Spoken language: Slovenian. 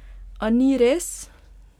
A ni res?